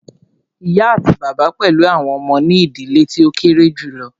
Ìyá àti bàbá pẹlú àwọn ọmọ ní ìdílé tí o kéré julọ.